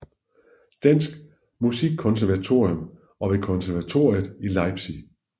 Danske Musikkonservatorium og ved konservatoriet i Leipzig